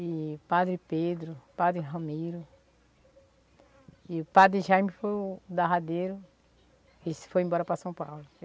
e Padre Pedro, Padre Ramiro, e o Padre Jaime foi o darradeiro e se foi embora para São Paulo.